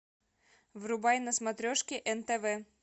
врубай на смотрешке нтв